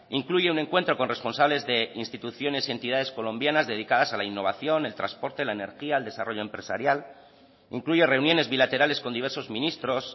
incluye un encuentro con responsables de instituciones y entidades colombianas dedicadas a la innovación el transporte la energía el desarrollo empresarial incluye reuniones bilaterales con diversos ministros